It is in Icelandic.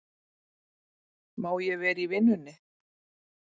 Má ég vera í vinnunni?